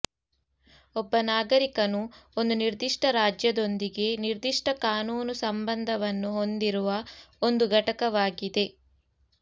ಒಬ್ಬ ನಾಗರಿಕನು ಒಂದು ನಿರ್ದಿಷ್ಟ ರಾಜ್ಯದೊಂದಿಗೆ ನಿರ್ದಿಷ್ಟ ಕಾನೂನು ಸಂಬಂಧವನ್ನು ಹೊಂದಿರುವ ಒಂದು ಘಟಕವಾಗಿದೆ